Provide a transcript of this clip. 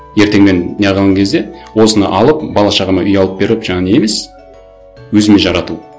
ертең мен не қылған кезде осыны алып бала шағама үй алып беріп жаңағы не емес өзіме жарату